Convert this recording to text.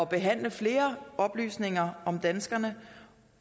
behandle flere oplysninger om danskerne